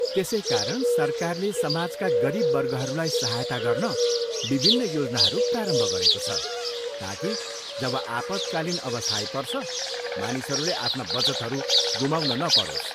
त्यसै कारण सरकारले समाजका गरिब वर्गहरूलाई सहायता गर्न विभिन्न योजनाहरू प्रारम्भ गरेको छ, ताकि जब आपतकालीन अवस्था आइपर्छ, मानिसहरूले आफ्ना बचतहरू गुमाउन नपरोस्।